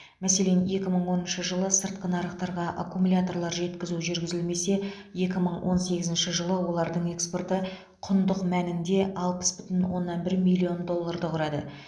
мәселен екі мың оныншы жылы сыртқы нарықтарға аккумуляторлар жеткізу жүргізілимесе екі мың он сегізінші жылы олардың экспорты құндық мәнінде алпыс бүтін оннан бір миллион долларды құрады